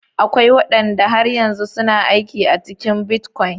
Akwai wadanda har yanzu suna aiki a cikin bitcoin.